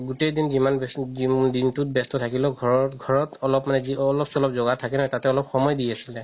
গুতেই দিন যিমান দিনতোত ব্যস্ত থাকিলেও বা ঘৰৰ ঘৰত অলপ মানে অলপ চলপ জগাৰ থাকে তাতে অলপ সময় দি আছিলে